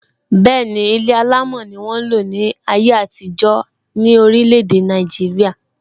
Ilé alámò ni won n lo ni aye atijọ ni orile ede naijiria.